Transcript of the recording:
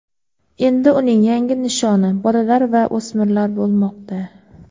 endi uning yangi nishoni bolalar va o‘smirlar bo‘lmoqda.